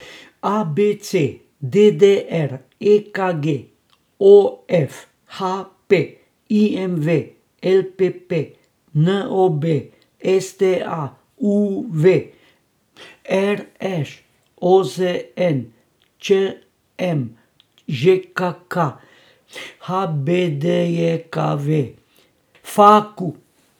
A B C; D D R; E K G; O F; H P; I M V; L P P; N O B; S T A; U V; R Š; O Z N; Č M; Ž K K; H B D J K V; F A Q.